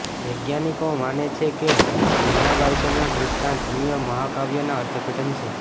વૈજ્ઞાનિકો માને છે કે નુહના બાઈબલના દૃષ્ટાંત અન્ય મહાકાવ્યના અર્થઘટન છે